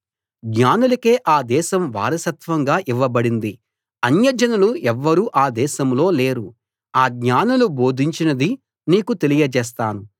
జ్ఞానులకే ఆ దేశం వారసత్వంగా ఇవ్వబడింది అన్యజనులు ఎవ్వరూ ఆ దేశంలో లేరు ఆ జ్ఞానులు బోధించినది నీకు తెలియజేస్తాను